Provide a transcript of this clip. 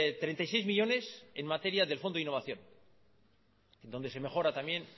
treinta y seis millónes en materia del fondo innovación donde se mejora también